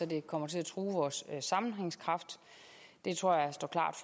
det kommer til at true vores sammenhængskraft det tror jeg står klart